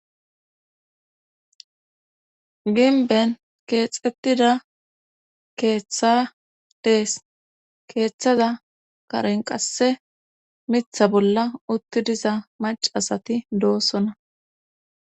ginben keexettida keeththa dees keeththaza karen qasse mitha bolla utti diza mac asati doosona